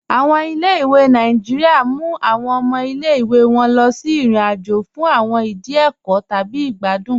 Awọn ilẹ̀-ìwé Nàìjíríà mú awọn ọmọ ilẹ̀-ìwé wọn lọ sí irin-àjò fún awọn ìdí ẹkọ́ tabi igbàdùn.